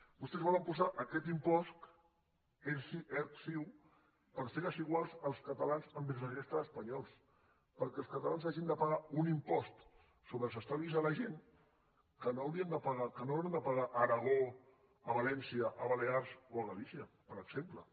vostès volen posar aquest impost erc ciu per fer desiguals els catalans envers la resta d’espanyols perquè els catalans hagin de pagar un impost sobre els estalvis de la gent que no hauran de pagar a aragó a valència a balears o a galícia per exemple